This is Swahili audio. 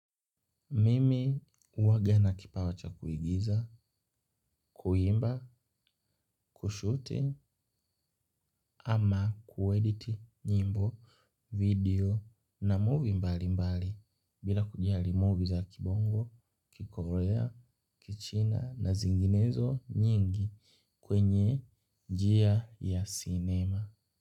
Mimi huwaga na kipawa cha kuigiza, kuimba, kushuti, ama kuediti nyimbo, video na movie mbalimbali bila kujali movie za kibongo, kikorea, kichina na zinginezo nyingi kwenye njia ya sinema.